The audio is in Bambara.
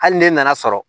Hali ne nana sɔrɔ